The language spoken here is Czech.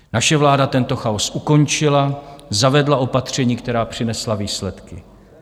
Naše vláda tento chaos ukončila, zavedla opatření, která přinesla výsledky.